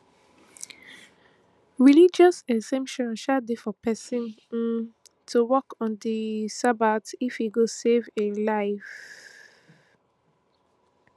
religious exemption sha dey for pesin um to work on di sabbath if e go save a save a life